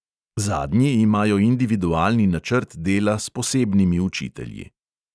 Zadnji imajo individualni načrt dela s posebnimi učitelji.